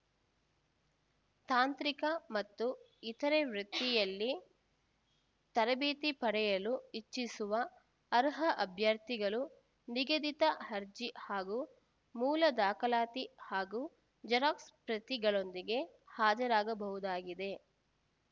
ತಾಂತ್ರಿಕ ಮತ್ತು ಇತರೆ ವೃತ್ತಿಯಲ್ಲಿ ತರಬೇತಿ ಪಡೆಯಲು ಇಚ್ಛಿಸುವ ಅರ್ಹ ಅಭ್ಯರ್ಥಿಗಳು ನಿಗದಿತ ಅರ್ಜಿ ಹಾಗೂ ಮೂಲ ದಾಖಲಾತಿ ಹಾಗೂ ಜೆರಾಕ್ಸ್‌ ಪ್ರತಿಗಳೊಂದಿಗೆ ಹಾಜರಾಗಬಹುದಾಗಿದೆ